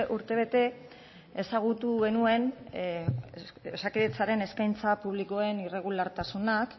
urtebete ezagutu genuen osakidetzaren eskaintza publikoaren irregulartasunak